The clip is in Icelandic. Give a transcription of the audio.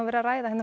verið að ræða